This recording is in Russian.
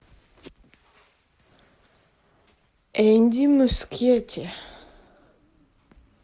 энди мускетти